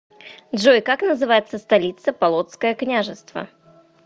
джой как называется столица полоцкое княжество